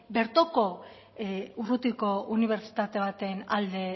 bertako urrutiko unibertsitate baten alde